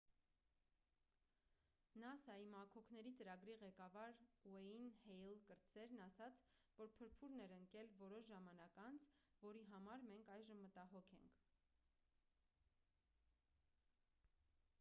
նասա-ի մաքոքների ծրագրի ղեկավար ն ուեյն հեյլ կրտսերն ասաց որ փրփուրն էր ընկել որոշ ժամանակ անց որի համար մենք այժմ մտագոհ ենք